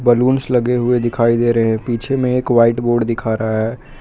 Balloons लगे हुए दिखाई दे रहे है पिछे में एक वाइट बोर्ड दिखा रहा है।